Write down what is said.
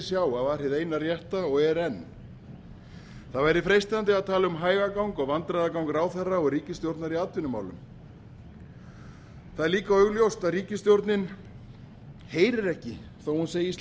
sjá að var hið eina rétta og er enn það væri freistandi að tala um hægagang og vandræðagang ráðherra og ríkisstjórnar í atvinnumálum það er líka augljóst að ríkisstjórnin heyrir ekki þótt hún segist